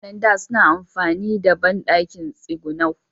Mutan da, suna amfani da banɗakin tsigunau